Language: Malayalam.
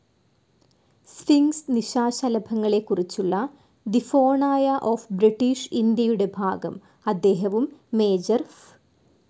സ്ഫിൻക്സ്‌ നിശാശലഭങ്ങളെക്കുറിച്ചുള്ള തെ ഫോണായ ഓഫ്‌ ബ്രിട്ടീഷ് ഇന്ത്യയുടെ ഭാഗം അദ്ദേഹവും മേജർ ഫ്.